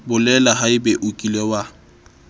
bolela haebe o kile wa